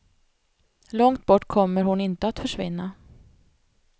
Långt bort kommer hon inte att försvinna.